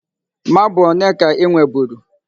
Marble one ka I nweburu?